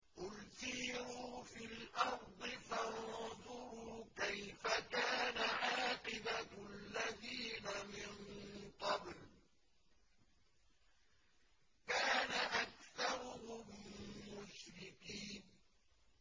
قُلْ سِيرُوا فِي الْأَرْضِ فَانظُرُوا كَيْفَ كَانَ عَاقِبَةُ الَّذِينَ مِن قَبْلُ ۚ كَانَ أَكْثَرُهُم مُّشْرِكِينَ